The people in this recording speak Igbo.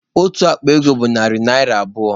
Otu akpa ego bụ narị naira abụọ